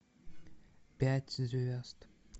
пять звезд